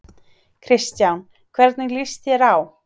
Kristján: Hvernig líst þér á?